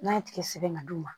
N'a ye tigɛ sɛbɛn ka d'u ma